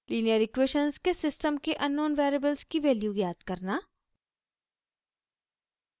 linear equations के system के unknown variables की वैल्यू ज्ञात करना